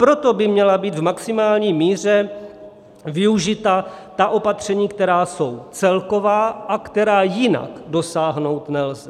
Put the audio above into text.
Proto by měla být v maximální míře využita ta opatření, která jsou celková a která jinak dosáhnout nelze.